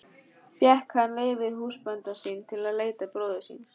Fékk hann leyfi húsbænda sinna til að leita bróður síns.